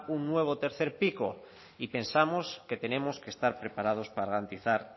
un nuevo tercer pico y pensamos que tenemos que estar preparados para garantizar